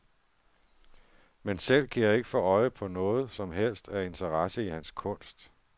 Men selv kan jeg ikke få øje noget som helst af interesse i hans kunst.